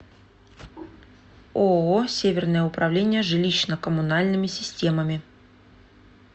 ооо северное управление жилищно коммунальными системами